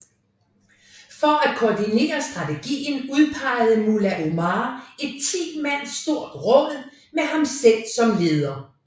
For at koordinere strategien udpegede Mullah Omar et ti mand stort råd med ham selv som leder